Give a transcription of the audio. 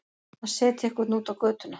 Að setja einhvern út á götuna